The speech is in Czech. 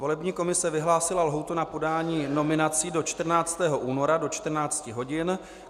Volební komise vyhlásila lhůtu na podání nominací do 14. února do 14 hodin.